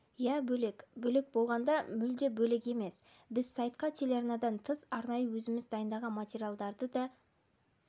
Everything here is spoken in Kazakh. иә бөлек бөлек болғанда мүлде бөлек емес біз сайтқа телеарнадан тыс арнайы өзіміз дайындаған материалдарды да